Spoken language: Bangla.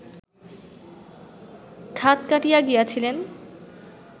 খাত কাটিয়া গিয়াছিলেন